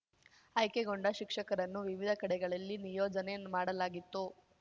ಆಯ್ಕೆಗೊಂಡ ಶಿಕ್ಷಕರನ್ನು ವಿವಿಧ ಕಡೆಗಳಲ್ಲಿ ನಿಯೋಜನೆ ಮಾಡಲಾಗಿತ್ತು